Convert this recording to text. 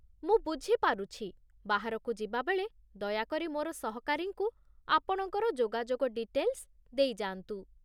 ମୁ ବୁଝି ପାରୁଛି। ବାହାରକୁ ଯିବାବେଳେ ଦୟାକରି ମୋର ସହକାରୀଙ୍କୁ ଆପଣଙ୍କର ଯୋଗାଯୋଗ ଡିଟେଲ୍ସ ଦେଇଯାଆନ୍ତୁ।